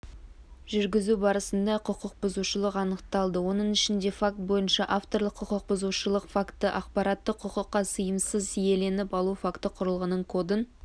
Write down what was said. жүргізу барысында құқық бұзушылық анықталды оның ішінде факт бойынша авторлық құқық бұзушылық факті ақпаратты құқыққа сыйымсыз иеленіп алу факті құрылғының кодын